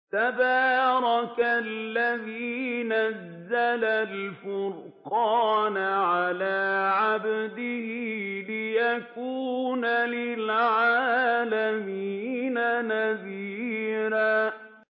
تَبَارَكَ الَّذِي نَزَّلَ الْفُرْقَانَ عَلَىٰ عَبْدِهِ لِيَكُونَ لِلْعَالَمِينَ نَذِيرًا